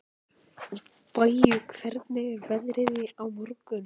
Baui, hvernig er veðrið á morgun?